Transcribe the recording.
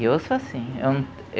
E eu sou assim, eu